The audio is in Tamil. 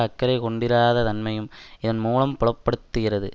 அக்கறை கொண்டிராத தன்மையும் இதன்மூலம் புலப்படுத்துகிறது